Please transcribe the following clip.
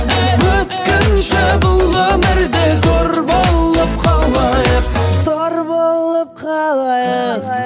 өткінші бұл өмірде зор болып қалайық зор болып қалайық